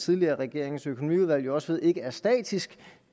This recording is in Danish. tidligere regerings økonomiudvalg jo også ved ikke er statisk